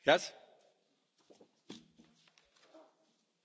Thank you, sir, for the good spirited acceptance of the question.